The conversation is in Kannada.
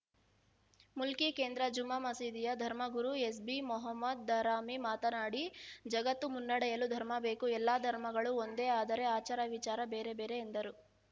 ಮುಲ್ಕಿ ಕೇಂದ್ರ ಜುಮ್ಮಾ ಮಸೀದಿಯ ಧರ್ಮಗುರು ಎಸ್‌ಬಿ ಮೊಹಮ್ಮದ್‌ ದಾರಮಿ ಮಾತನಾಡಿ ಜಗತ್ತು ಮುನ್ನಡೆಯಲು ಧರ್ಮಭೇಕು ಎಲ್ಲ ಧರ್ಮಗಳು ಒಂದೇ ಆದರೆ ಆಚಾರ ವಿಚಾರ ಬೇರೆ ಬೇರೆ ಎಂದರು